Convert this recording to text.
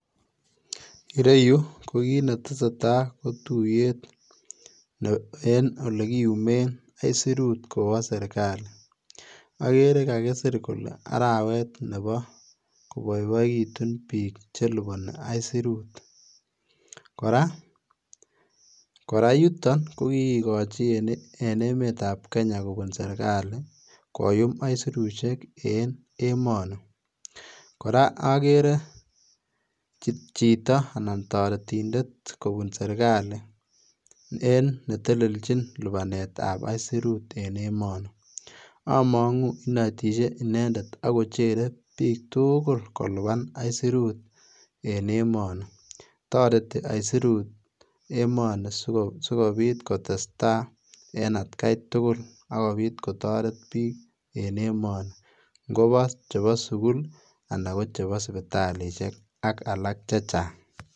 Ireyu kokinetesetai kotuyet en ole kiyumen aisirut kowo sirkali, okere kakisir kole arawet nebo koboiboekitun bik cheliboni aisirut ,koraa yuton kokikikochi en emetab Kenya kobun sirkali koyum aisirusiek en emoni, koraa okeree chito anan toretindet kobun sirkali en neteleljin libanetab aisirut en emoni amongu inetishe inendet ako cheree bik tugul koliban aisirut en emoni toreti aisirut emoni sikobit kotestaa en atkai tugul ak kobit kotoret bik en emoni ngobo chebo sugul anan kosipitalisiek ak alak chechang.